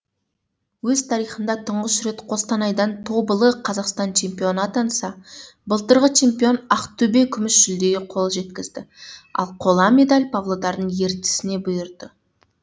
өз тарихында тұңғыш рет қостанайдан тобылы қазақстан чемпионы атанса былтырғы чемпион ақтөбе күміс жүлдеге қол жеткізді ал қола медель павлодардың ертісіне бұйырды